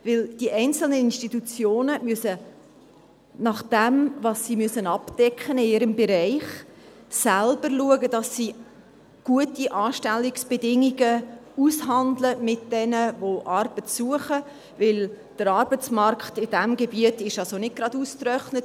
Denn die einzelnen Institutionen müssen gemäss dem, was sie in ihrem Bereich abdecken müssen, selber schauen, dass sie mit jenen, die Arbeit suchen, gute Anstellungsbedingungen aushandeln, denn der Arbeitsmarkt ist in diesem Gebiet nicht gerade ausgetrocknet.